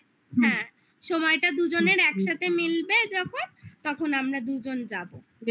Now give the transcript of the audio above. হ্যাঁ সময়টা দুজনের একসাথে মিলবে যখন তখন আমরা দুজন যাবো